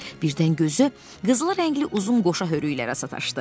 Birdən gözü qızılı rəngli uzun qoşa hörüklərə sataşdı.